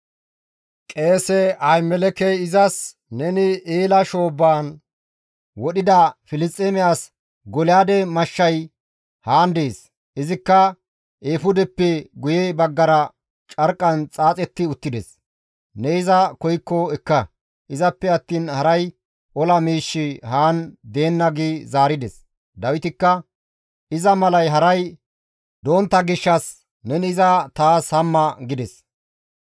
Qeese Ahimelekey izas, «Neni Eela shoobbaan wodhida Filisxeeme as Golyaade mashshay haan dees; izikka eefudeppe guye baggara carqqan xaaxetti uttides; ne iza koykko ekka; izappe attiin haray ola miishshi haan deenna» gi zaarides. Dawitikka, «Iza malay haray dontta gishshas neni iza taas hamma!» gides.